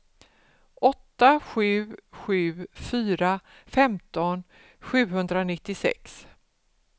åtta sju sju fyra femton sjuhundranittiosex